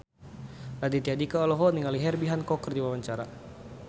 Raditya Dika olohok ningali Herbie Hancock keur diwawancara